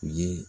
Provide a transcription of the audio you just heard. U ye